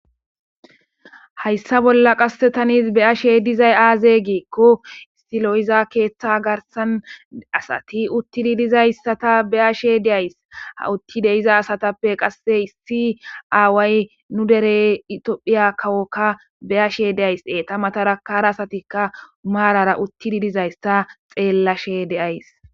hayssa bolla qassetanis beyashe dizay aaze geekko istilo7iza keeththa garsan asati uttidi dizayssata beyashe deays ha utti deiza asatappe qasse issi aaway nu dere itophiya kawokka beyashe deayse ta matarakara asatikka maarara uttidi dizayssa xeellashe deays